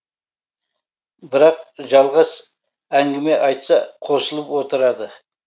бірақ жалғас әңгіме айтса қосылып отырады